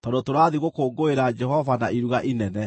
tondũ tũrathiĩ gũkũngũĩra Jehova na iruga inene.”